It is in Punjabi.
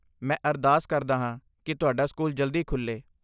ਮੈਂ ਅਰਦਾਸ ਕਰਦਾ ਹਾਂ ਕਿ ਤੁਹਾਡਾ ਸਕੂਲ ਜਲਦੀ ਖੁੱਲ੍ਹੇ।